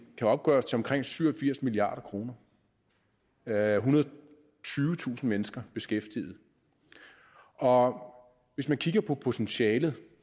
kan opgøres til omkring syv og firs milliard kroner der er ethundrede og tyvetusind mennesker beskæftiget og hvis man kigger på potentialet